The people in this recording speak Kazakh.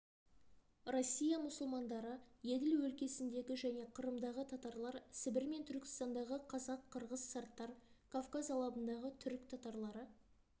россия мұсылмандары еділ өлкесіндегі және қырымдағы татарлар сібір мен түркістандағы қазақ-қырғыз сарттар кавказ алабындағы түрік татарлары